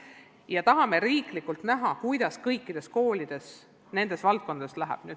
Me tahame riiklikult näha, kuidas kõikidel koolidel eri valdkondades läheb.